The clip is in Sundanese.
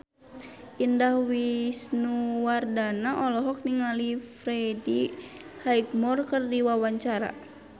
Indah Wisnuwardana olohok ningali Freddie Highmore keur diwawancara